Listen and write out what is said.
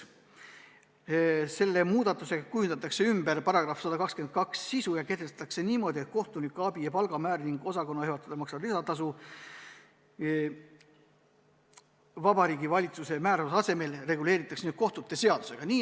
Selle muudatusega kujundatakse ümber § 122 sisu ja sätestatakse niimoodi, et kohtunikuabi palgamäär ning osakonnajuhatajale makstav lisatasu kehtestatakse Vabariigi Valitsuse määruse asemel kohtute seadusega.